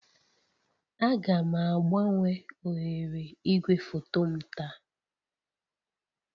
Aga m agbanwe oghere igwefoto m taa